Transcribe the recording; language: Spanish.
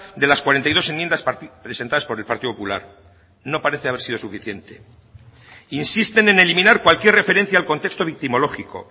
de las cuarenta y dos enmiendas presentadas por el partido popular no parece haber sido suficiente insisten en eliminar cualquier referencia al contexto victimológico